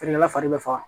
Feerekɛla fari bɛ faga